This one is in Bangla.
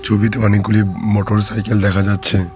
ছবিতে অনেকগুলি মোটরসাইকেল দেখা যাচ্ছে।